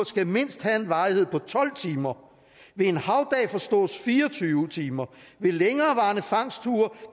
skal mindst have en varighed på tolv timer ved en havdag forstås fire og tyve timer ved længerevarende fangstture